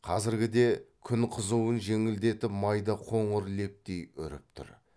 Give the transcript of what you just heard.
қазіргіде күн қызуын жеңілдетіп майда қоңыр лептей үріп тұр